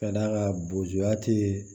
Ka d'a kan bojuya tɛ